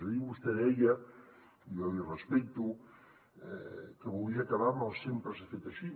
ahir vostè deia i jo l’hi respecto que volia acabar amb el sempre s’ha fet així